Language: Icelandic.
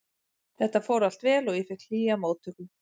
Þetta fór allt vel og ég fékk hlýja móttöku.